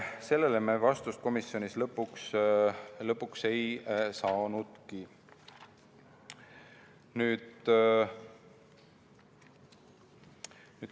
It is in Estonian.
Sellele me komisjonis lõpuks vastust ei saanudki.